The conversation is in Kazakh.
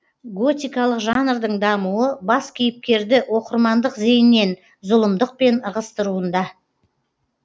готикалық жанрдың дамуы бас кейпкерді оқырмандық зейіннен зұлымдықпен ығыстыруында